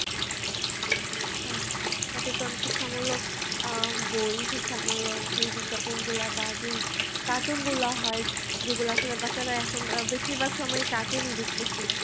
হ্যাঁ, সচেতন, শিক্ষামূলক বই, শিক্ষামূলক আহ বই শিক্ষামূলক যেই বিজ্ঞাপনগুলা বা যেই cartoon গুলা হয়, যেগুলা আসলে বাচ্চারা এখন বেশিরভাগ সময় cartoon ই দেখতেছে।